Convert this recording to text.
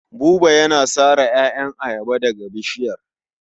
Buba yana sare ƴaƴan ayaba daga bishiyar.